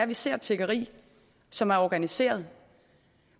vi ser tiggeri som er organiseret